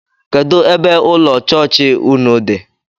Kedụ ebe ụlọ chọọchị ụnụ dị?